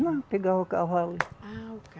Não, pegava o cavalo. Ah, o